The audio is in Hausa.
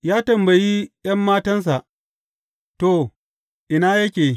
Ya tambayi ’yan matansa, To ina yake?